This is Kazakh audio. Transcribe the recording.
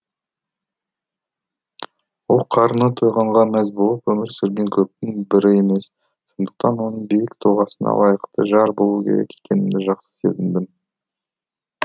ол қарны тойғанға мәз болып өмір сүрген көптің бірі емес сондықтан оның биік тұлғасына лайықты жар болу керек екенімді жақсы сезіндім